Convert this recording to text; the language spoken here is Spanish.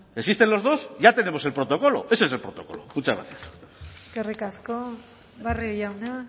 existen los dos y ya tenemos el protocolo ese es el protocolo muchas gracias eskerrik asko barrio jauna